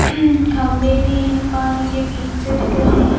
घंबे भी है पानी के बीच से दिख रहा है।